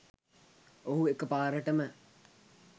ඔහු එකපාරටම